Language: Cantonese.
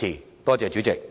多謝代理主席。